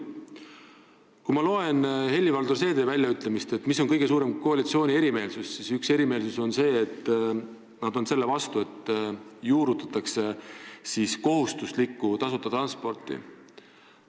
Kui ma loen Helir-Valdor Seederi väljaütlemisi koalitsiooni suuremate erimeelsuste kohta, siis osa valitsusest on selle vastu, et juurutatakse kohustuslikku tasuta transporti.